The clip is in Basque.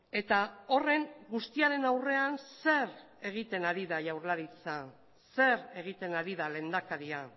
eta horren guztiaren aurrean zer egiten ari da jaurlaritza zer egiten ari da lehendakaria